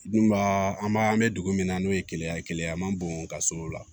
Dun baa an b'a an bɛ dugu min na n'o ye keleya ye keleya an ma bɔn ka s'o la